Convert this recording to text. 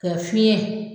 Ka fiɲɛ